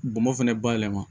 Bɔnmɔ fɛnɛ bayɛlɛma